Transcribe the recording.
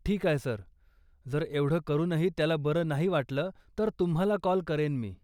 ठीक आहे, सर, जर एवढं करूनही त्याला बरं नाही वाटलं, तर तुम्हाला कॉल करेन मी.